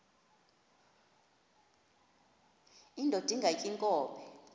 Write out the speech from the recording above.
indod ingaty iinkobe